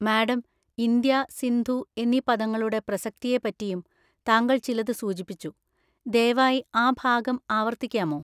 Madam, India, Sindhu എന്നീ പദങ്ങളുടെ പ്രസക്തിയെപ്പറ്റിയും താങ്കൾ ചിലത് സൂചിപ്പിച്ചു; ദയവായി ആ ഭാഗം ആവർത്തിക്കാമോ?